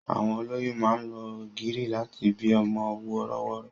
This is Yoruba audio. Àwọn olóyún máa ń lo ọ̀gìrì láti bí ọmọ wọ́rọ́wọ́.